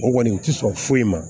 O kɔni u ti sɔn foyi ma